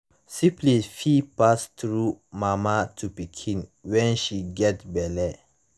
syphilis fit pass through mama to pikin when she get belle